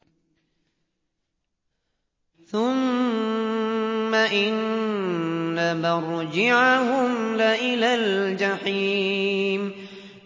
ثُمَّ إِنَّ مَرْجِعَهُمْ لَإِلَى الْجَحِيمِ